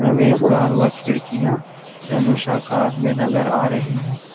प्रवेश द्वार व खिड़कियां धनुषा आकार में नजर आ रही है।